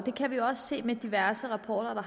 kan også se i diverse rapporter